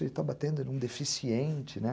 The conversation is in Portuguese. Ele está batendo em um deficiente, né?